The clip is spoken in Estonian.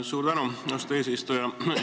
Suur tänu, austatud eesistuja!